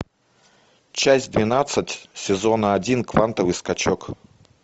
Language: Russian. часть двенадцать сезона один квантовый скачок